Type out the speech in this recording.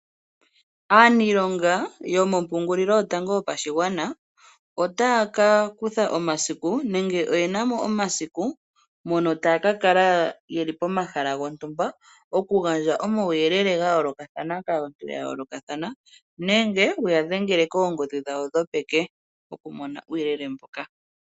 Aaniilonga yomompungulilo yotango yopashigwana, otaya ka kutha omasiku nenge oyena mo omasiku, mono taya ka kala yeli pomahala gontumba. Okugandja omauyelele ga yoolokathana kaantu ya yoolokathana, nenge wuya dhengele koongodhi dhawo dhopeke okumona uuyelele mbuka.